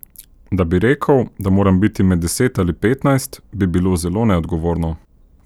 Da bi rekel, da moram biti med deset ali petnajst, bi bilo zelo neodgovorno.